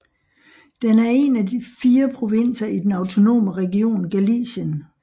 Den er en af fire provinser i den autonome region Galicien